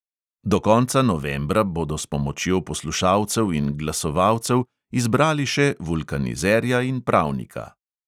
Do konca novembra bodo s pomočjo poslušalcev in glasovalcev izbrali še vulkanizerja in pravnika.